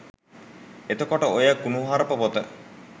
එතකොට ඔය කුනුහරුප පොත